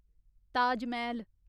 Taj Mahal